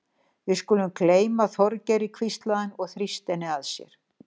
Við skulum gleyma Þorgeiri hvíslaði hann og þrýsti henni að sér.